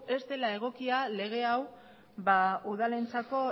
ez dela egokia lege hau udaleentzat